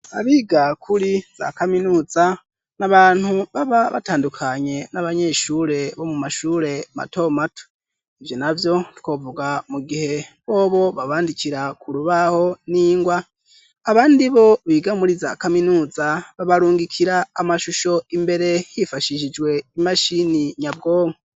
Abiga kuri za kaminuza ni abantu baba batandukanye n'abanyeshure bo mu mashure matomato. Ivyo navyo twovuga mu gihe bobo babandikira ku rubaho n'ingwa abandi bo biga muri za kaminuza babarungikira amashusho imbere hifashishijwe imashini nyabwonko.